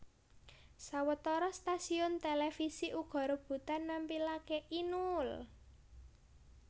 Sawetara stasiun télévisi uga rebutan nampilaké Inul